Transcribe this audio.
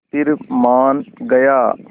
फिर मान गया